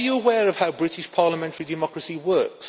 Are you aware of how British parliamentary democracy works?